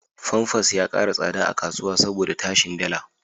Famfas ya ƙara tsada a kasuwa saboda tashin dala.